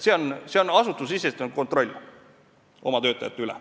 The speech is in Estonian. See on asutusesisene kontroll oma töötajate üle.